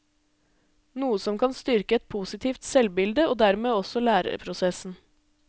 Noe som kan styrke et positivt selvbilde og dermed også læreprosessen.